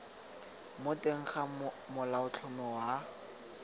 mo teng ga molaotlhomo wa